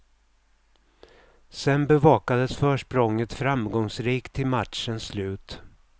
Sedan bevakades försprånget framgångsrikt till matchens slut.